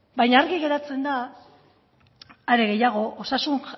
baina argi geratzen da are gehiago osasun